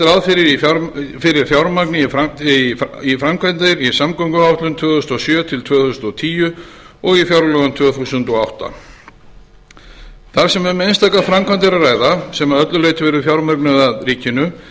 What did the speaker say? ráð fyrir fjármagni í framkvæmdir í samgönguáætlun tvö þúsund og sjö til tvö þúsund og tíu og fjárlögum tvö þúsund og átta þar sem um einstaka framkvæmd er að ræða sem að öllu leyti verður fjármögnuð af ríkinu